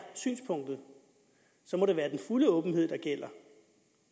synspunktet må det være den fulde åbenhed der gælder